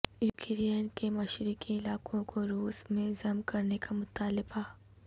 Ukraine کے مشرقی علاقوں کو روس میں ضم کرنے کا مطالبہ